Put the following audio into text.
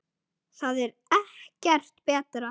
Það er ekkert betra.